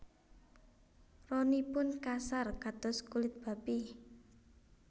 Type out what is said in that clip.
Ronipun kasar kados kulit babi